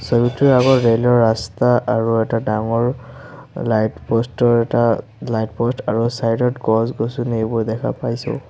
ছবিটোৰ আগত ৰেল ৰ ৰাস্তা আৰু এটা ডাঙৰ লাইট প'ষ্ট ৰ এটা লাইট প'ষ্ট আৰু চাইদ ত গছ-গছনি এইবোৰ দেখা পাইছোঁ।